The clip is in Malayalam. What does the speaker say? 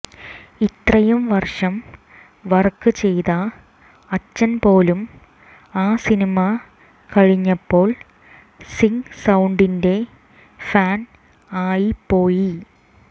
ഇത്രയും വർഷം വർക്ക് ചെയ്ത അച്ഛൻ പോലും ആ സിനിമ കഴിഞ്ഞപ്പോൾ സിങ്ക് സൌണ്ടിന്റെ ഫാൻ ആയിപ്പോയി